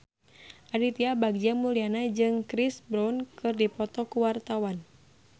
Aditya Bagja Mulyana jeung Chris Brown keur dipoto ku wartawan